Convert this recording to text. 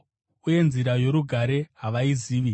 Uye nzira yorugare havaizivi.”